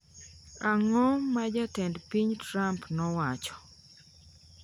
Ang’o ma Jatend piny Trump nowacho?